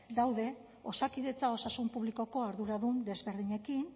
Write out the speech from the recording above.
daude osakidetza osasun publikoko arduradun desberdinekin